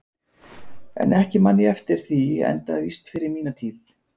En ekki man ég eftir því enda víst fyrir mína tíð.